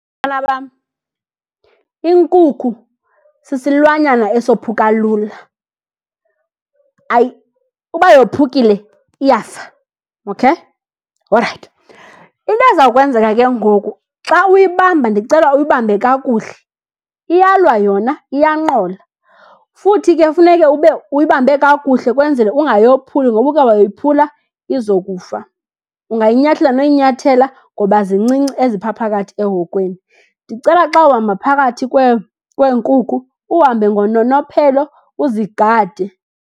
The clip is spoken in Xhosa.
bam, inkukhu sisilwanyana esophuka lula, uba yophukile iyafa, okay? Orayithi. Into eza kwenzeka ke ngoku, xa uyibamba ndicela uyibambe kakuhle. Iyalwa yona iyanqola, futhi ke funeke ube uyibambe kakuhle kwenzele ungayophuli ngoba uke wayophula izokufa. Ungayinyathela noyinyathela ngoba zincinci eziphaa phakathi ehokweni. Ndicela xa uhamba phakathi kweenkukhu uhambe ngononophelo, uzigade.